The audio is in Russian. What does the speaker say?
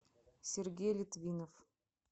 сергей литвинов